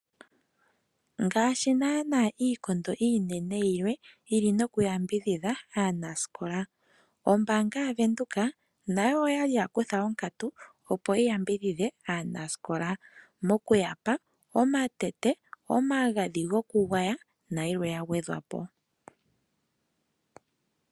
Ngaashi naanaa iikondo iinene yilwe yi li noku yambidhidha aanasikola, ombaanga yaVenduka nayo oya li ya kutha onkatu opo yi yambidhidhe aanasikola mokuyapa omatete, omagadhi gokugwaya nayilwe ya gwedhwa po.